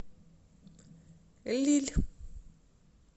лилль